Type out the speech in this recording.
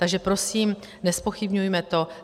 Takže prosím, nezpochybňujme to.